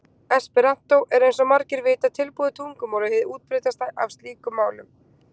Esperantó er eins og margir vita tilbúið tungumál og hið útbreiddasta af slíkum málum.